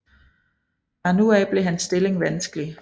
Fra nu af blev hans stilling vanskelig